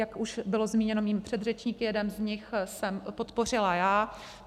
Jak už bylo zmíněno mými předřečníky, jeden z nich jsem podpořila já.